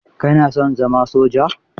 Ka na son zama soja?